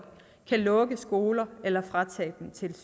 kan lukke skoler eller fratage